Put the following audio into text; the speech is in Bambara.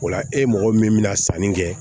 O la e mɔgɔ min bɛna sanni kɛ